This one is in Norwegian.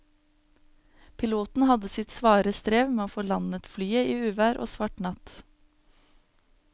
Piloten hadde sitt svare strev med å få landet flyet i uvær og svart natt.